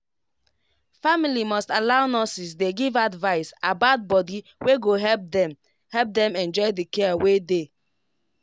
family must allow nurses dey give advice about body wey go help dem help dem enjoy the care wey dey.